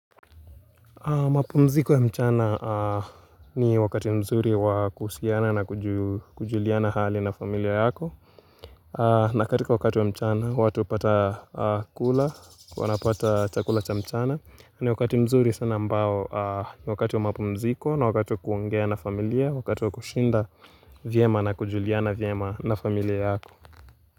Mapumziko ya mchana ni wakati mzuri wakuhusiana na kujuliana hali na familia yako na katika wakati wa mchana watu hupata kula, wanapata chakula cha mchana ni wakati mzuri sana ambao ni wakati wa mapumziko na wakati wa kuongea na familia Wakati wa kushinda vyema na kujuliana vyema na familia yako.